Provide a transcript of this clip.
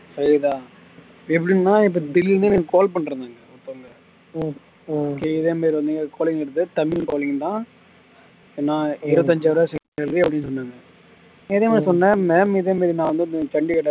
கேக்குதா எப்படின்னா இப்ப திடிருன்னு எனக்கு call பண்ணிருந்தாங்க ஒருத்தங்க இதே மாறி வந்து calling கிறது தமிழ் calling தான் நான் இருபத்தஞ்சாயிரம் salary அப்படின்னு சொன்னாங்க இதே மாதிரி சொன்னேன் ma'am இதே மாதிரி நான் வந்து சண்டிகர்ல